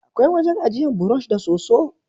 Akwai wajen ajiyan burosh da soso